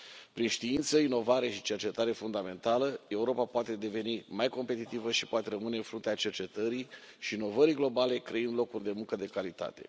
Prin știință, inovare și cercetare fundamentală, Europa poate deveni mai competitivă și poate rămâne în fruntea cercetării și inovării globale, creând locuri de muncă de calitate.